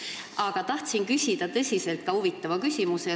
Aga tahan küsida ka tõsiselt huvitava küsimuse.